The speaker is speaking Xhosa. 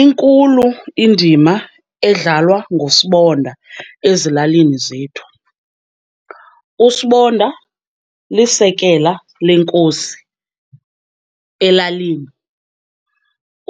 Inkulu indima edlalwa nguSibonda ezilalini zethu. USibonda lisekela lenkosi elalini.